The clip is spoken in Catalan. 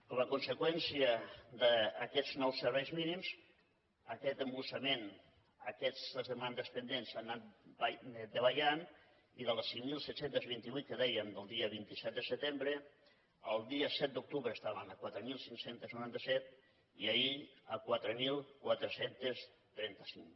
com a conseqüència d’aquests nous serveis mínims aquest embussament aquestes demandes pendents han anat davallant i de les cinc mil set cents i vint vuit que dèiem del dia vint set de setembre el dia set d’octubre estaven a quatre mil cinc cents i noranta set i ahir a quatre mil quatre cents i trenta cinc